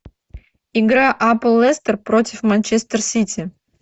игра апл лестер против манчестер сити